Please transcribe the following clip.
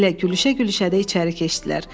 Elə gülüşə-gülüşə də içəri keçdilər.